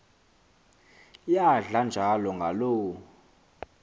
iyadla njalo ngaloo